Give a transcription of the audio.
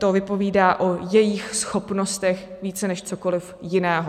To vypovídá o jejích schopnostech více než cokoliv jiného.